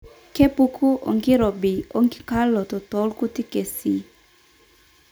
kepuku orkirobi oenkikaoloto toorkuti kesii.